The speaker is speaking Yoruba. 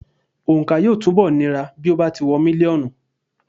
Òǹkà yóò túnbọ̀ nira bí ó bá ti wọ mílíọ̀nù.